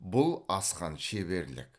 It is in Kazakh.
бұл асқан шеберлік